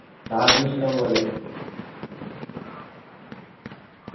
നാട്ടിൽ ഇഷ്ട്ടം പോലെ